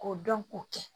K'o dɔn k'o kɛ